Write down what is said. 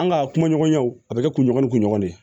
An ka kumaɲɔgɔnyaw a bɛ kɛ kunɲɔgɔn ni kunɲɔgɔn de ye